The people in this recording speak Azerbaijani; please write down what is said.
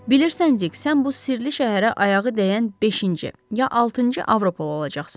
Bilirsən, Dik, sən bu sirli şəhərə ayağı dəyən beşinci, ya altıncı avropalı olacaqsan.